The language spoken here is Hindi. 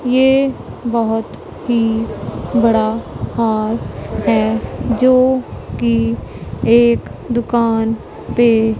ये बहुत ही बड़ा हॉल है जो कि एक दुकान पे--